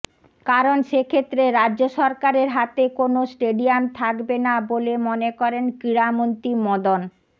কারণ সেক্ষেত্রে রাজ্য সরকারের হাতে কোন স্টেডিয়াম থাকবে না বলে মনে করেন ক্রীড়ামন্ত্রী মদন